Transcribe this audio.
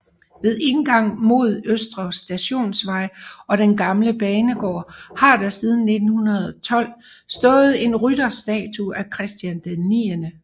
Ved indgang mod Østre Stationsvej og den gamle banegård har der siden 1912 stået en rytterstatue af Christian 9